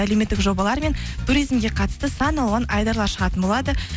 әлеуметік жобалар мен туризмге қатысты сан алуан айдарлар шығатын болады